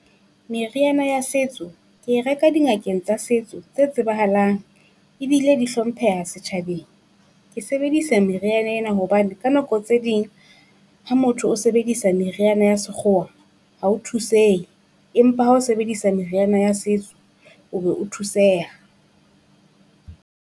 Meriana ya setso ke e reka dingakeng tsa setso tse tsebahalang ebile di hlompheha setjhabeng. Ke sebedisa meriana ena hobane ka nako tse ding ha motho o sebedisa meriana ya sekgowa ha o thusehe, empa ha o sebedisa meriana ya setso, o be o thuseha.